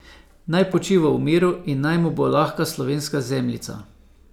Naj počiva v miru in naj mu bo lahka slovenska zemljica.